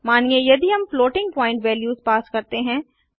मानिए यदि हम फ्लोटिंग प्वॉइंट वेल्यूस पास करते हैं